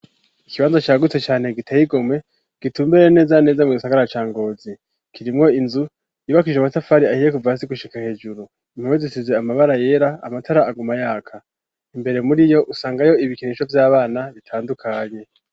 Ikibanza cagutse cane giteye igomwe, gitumbereye neza neza mu gisagara ca Ngozi ;kirimwo inzu yibakishije amatafari ahiye kuva hasi gushika hejuru; impome zisize amabara yera amatara aguma yaka; imbere muri iyo usangayo ibikinisho vy'abana bitandukanye.